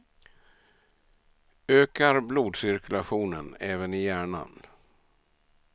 Ökar blodcirkulationen, även i hjärnan.